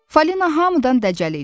Falina hamıdan dəcəl idi.